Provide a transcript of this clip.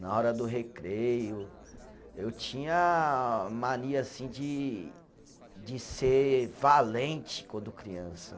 Na hora do recreio, eu tinha mania assim de de ser valente quando criança.